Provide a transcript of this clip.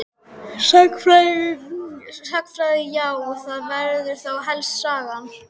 Sagnfræði já það væri þá helst Sagan.